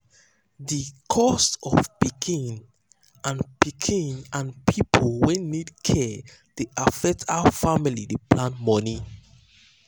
the cost of pikin and pikin and people wey need care dey affect how family dey plan money.